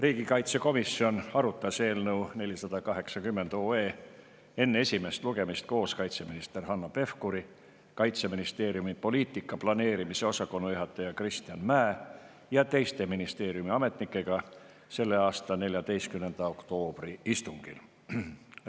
Riigikaitsekomisjon arutas eelnõu 480 enne esimest lugemist koos kaitseminister Hanno Pevkuri, Kaitseministeeriumi poliitika planeerimise osakonna juhataja Kristjan Mäe ja teiste ministeeriumi ametnikega selle aasta 14. oktoobri istungil.